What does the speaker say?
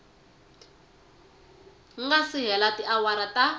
nga si hela tiawara ta